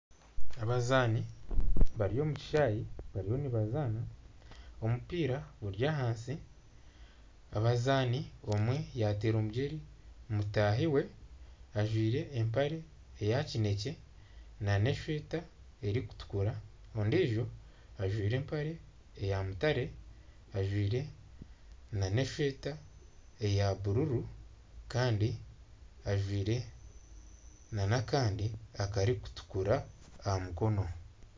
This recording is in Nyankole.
Abazaani bari omu kishaayi bariyo nibazaana, omupiira guri ahansi, omuzaani omwe yaateera omugyere mutaahi we, ajwire empare eya kineekye nana esweeta erikutukura ondiijo ajwire empare eya mutaare ajwire nana esweeta eya bururu kandi ajwire nana akandi akarikutukura aha mukono